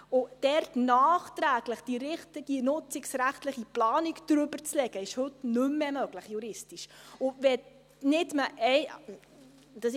Dort nachträglich die richtige nutzungsrechtliche Planung darüberzulegen, ist heute juristisch nicht mehr möglich.